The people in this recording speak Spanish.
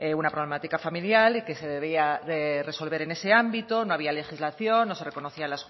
una problemática familiar y que se debía de resolver en ese ámbito no había legislación no se reconocían